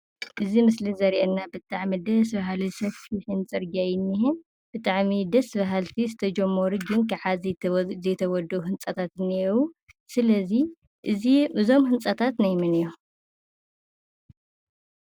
እዚ ምስሊ ዘርእየና ብጣዕሚ ደስ... በሃሊ ሰፊሕን ፅርጊያ እዩ እኒሀ፡፡ ብጣዐሚ ደስ በሃልቲ ዝተጀመሩ ይኹን ክሳብ ሕዚ ዘይተወዱኡ ህንፃታት እኒአው፡፡ ስለዚ እዚ እዞም ህንፃታት ናይ መን እዮም?